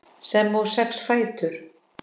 sem og sex fætur.